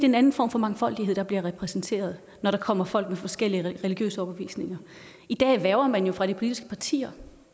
en anden form for mangfoldighed der bliver repræsenteret når der kommer folk med forskellige religiøse overbevisninger i dag hverver man jo fra de politiske partier